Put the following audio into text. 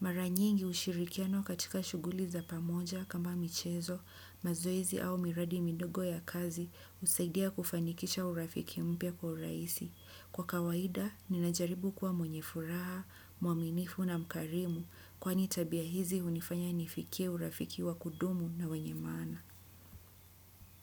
Mara nyingi ushirikiano katika shughuli za pamoja kama michezo, mazoezi au miradi midogo ya kazi husaidia kufanikisha urafiki mpya kwa urahisi. Kwa kawaida, ninajaribu kwa mwenye furaha, mwaminifu na mkarimu kwani tabia hizi hunifanya nifikie urafiki wa kudumu na wenye maana.